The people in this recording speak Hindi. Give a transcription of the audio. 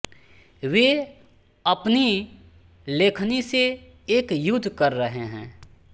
वे अपनी लेखनी से एक युद्ध कर रहे हैं